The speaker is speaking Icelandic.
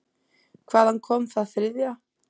Hvaðan kom það þriðja?